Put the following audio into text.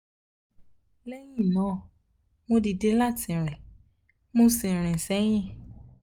lẹ́yìn náà mo dìde láti rìn mo sì rìn sẹ́yìn